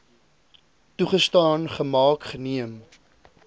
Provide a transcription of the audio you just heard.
toegestaan gemaak geneem